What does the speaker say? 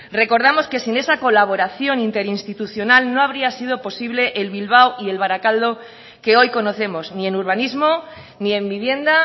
recordamos que sin esa colaboración interinstitucional no habría sido posible el bilbao y el barakaldo que hoy conocemos ni en urbanismo ni en vivienda